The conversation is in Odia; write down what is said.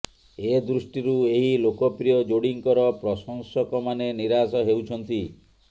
ଏ ଦୃଷ୍ଟିରୁ ଏହି ଲୋକପ୍ରିୟ ଯୋଡ଼ିଙ୍କର ପ୍ରଶଂସକମାନେ ନିରାଶ ହେଉଛନ୍ତି